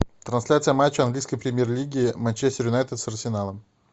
трансляция матча английской премьер лиги манчестер юнайтед с арсеналом